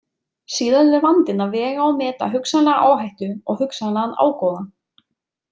Síðan er vandinn að vega og meta hugsanlega áhættu og hugsanlegan ágóða.